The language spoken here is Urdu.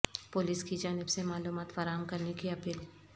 پولیس کی جانب سے معلومات فراہم کرنے کی اپیل